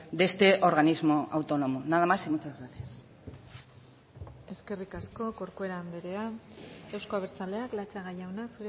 de este organismo autónomo nada más y muchas gracias eskerrik asko corcuera andrea euzko abertzaleak latxaga jauna